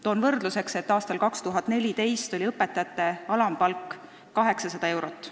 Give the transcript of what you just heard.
Toon võrdluseks, et aastal 2014 oli õpetaja alampalk 800 eurot.